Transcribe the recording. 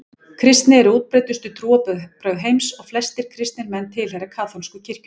Kristni er útbreiddustu trúarbrögð heims og flestir kristnir menn tilheyra kaþólsku kirkjunni.